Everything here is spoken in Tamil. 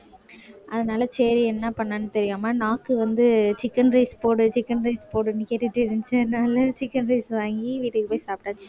அதனால சரி என்ன பண்ணான்னு நாக்கு வந்து chicken rice போடு chicken rice போடுன்னு கேட்டுட்டே இருந்துச்சு அதனால chicken rice வாங்கி வீட்டுக்கு போய் சாப்பிட்டாச்சு